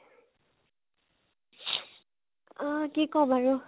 আ কি কʼম আৰু ?